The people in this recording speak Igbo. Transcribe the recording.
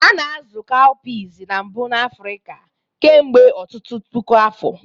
A na-azụ cowpeas na mbụ n'Africa kemgbe ọtụtụ puku afọ.